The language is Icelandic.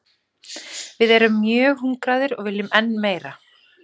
Við erum mjög hungraðir og viljum enn meira.